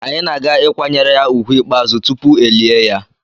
Anyị na-aga ịkwanyere ya úgwù ikpeazụ tupu elie ya.